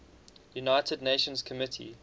united nations committee